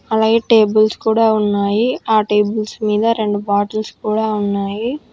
అలాగే టేబుల్స్ కూడా ఉన్నాయి ఆ టేబుల్స్ మీద రెండు బాటిల్స్ కూడా ఉన్నాయి.